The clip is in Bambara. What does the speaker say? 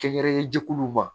Kɛ yɛrɛ jɛkuluw ma